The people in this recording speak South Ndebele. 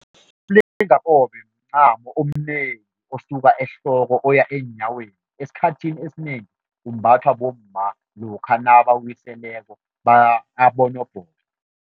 Umlingakobe mncamo omnengi osuka ehloko oya eenyaweni, esikhathini esinengi umbathwa bomma lokha nabawiseleko